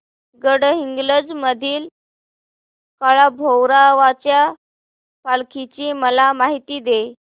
गडहिंग्लज मधील काळभैरवाच्या पालखीची मला माहिती दे